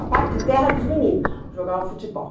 A parte de terra era dos meninos, jogavam futebol.